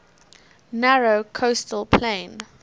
narrow coastal plain